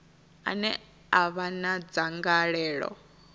ane a vha na dzangalelo